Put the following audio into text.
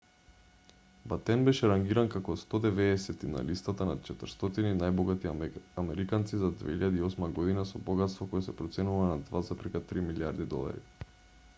батен беше рангиран како 190ти на листата на 400 најбогати американци за 2008 година со богатство кое се проценува на $2,3 милијарди